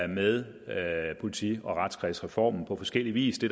med politi og retskredsreformen på forskellig vis det